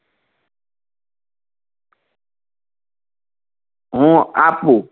હું આપું